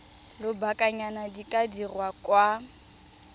lobakanyana di ka dirwa kwa